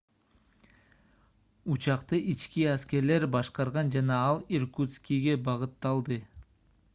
учакты ички аскерлер башкарган жана ал иркутскиге багытталды